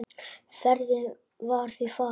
Ferðin var því farin.